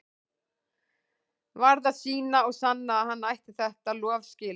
Varð að sýna og sanna að hann ætti þetta lof skilið.